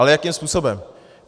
Ale jakým způsobem?